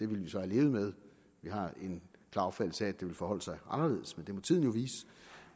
vi så have levet med vi har en klar opfattelse af at det vil forholde sig anderledes men det må tiden jo vise